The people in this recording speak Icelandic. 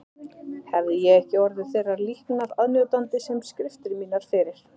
Hefði ég ekki orðið þeirrar líknar aðnjótandi sem skriftir mínar fyrir